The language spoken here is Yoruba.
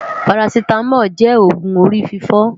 Párásitámòlú jé ógùn órififò